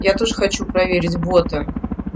я тоже хочу проверить бота